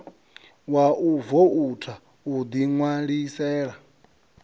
wa u voutha u ḓiṋwalisela